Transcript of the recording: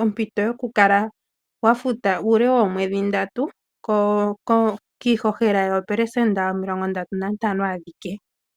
ompito yokukala wa futa uule woomwedhi ndatu kiihohela yoopelesenda omilongo ndatu nantano adhike.